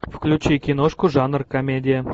включи киношку жанр комедия